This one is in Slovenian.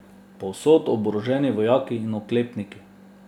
Povsod oboroženi vojaki in oklepniki.